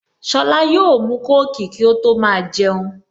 Sola yóò mu kóòkì kí ó tó máa jẹun